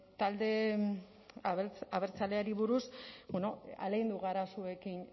talde abertzaleari buruz ahalegindu gara zuekin